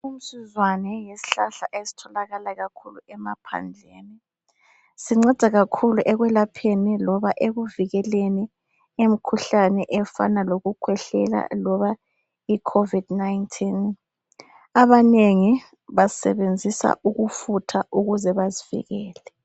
Umsuzwane yisihlahla esitholakala kakhulu emaphandleni,. Sinceda kakhulu ekwelapheni loba ekuvikeleni imikhuhlane efana lokukhwehlela loba iCovid 19.Abanengi basebenzisa ukufutha ukuze bazivikele.